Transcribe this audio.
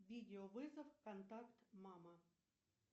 видеовызов контакт мама